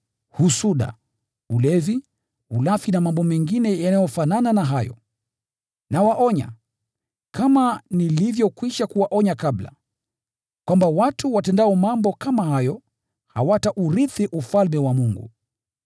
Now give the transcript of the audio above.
husuda, ulevi, ulafi na mambo mengine yanayofanana na hayo. Nawaonya, kama nilivyokwisha kuwaonya kabla, kwamba watu watendao mambo kama hayo, hawataurithi Ufalme wa Mungu.